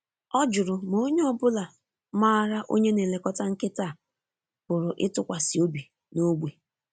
Ọ jụrụ ma onye ọ bụla maara onye na-elekọta nkịta a pụrụ ịtụkwasị obi n’ógbè.